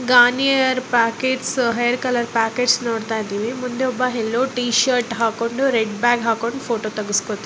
Garnier hair packets hair packets ನೋಡತ್ತಾ ಇದ್ದಿವಿ hello T shirt ಹಾಕಿಕೊಂಡು ರೆಡ್ಡ ಬ್ಯಾಗ್ ಹಾಕೊಂಡು ಫೋಟೋ ತೆಗೆಸಿಕೊ __